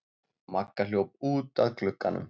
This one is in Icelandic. Magga hljóp út að glugganum.